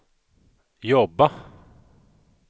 jobba